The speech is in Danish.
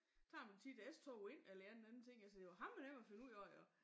Tager man tit S-toget ind eller en eller anden ting altså det jo hammer nemt at finde ud af jo